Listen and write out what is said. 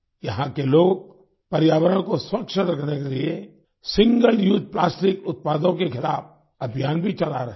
यहाँ के लोग पर्यावरण को स्वच्छ रखने के लिए सिंगल उसे प्लास्टिक उत्पादों के खिलाफ अभियान भी चला रहे हैं